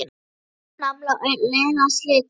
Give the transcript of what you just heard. Strengurinn nafla á leiðinni að slitna.